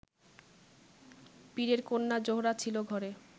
পীরের কন্যা জোহরা ছিল ঘরে